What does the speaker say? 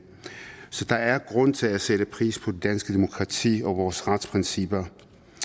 så der er grund til at sætte pris på det danske demokrati og vores retsprincipper